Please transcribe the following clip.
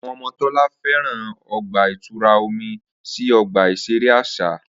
Awọn ọmọ Tola fẹran ọgba-itura omi si ọgba iṣere aṣa.